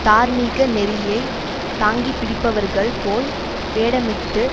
தார்மீக நெறியை தாங்கிப்பிடிப்பவர்கள் போல் வேடமிட்டு